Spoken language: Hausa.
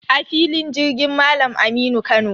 A filin jirgin Malam Aminu Kano.